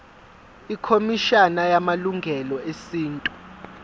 ikhomishana yamalungelo esintu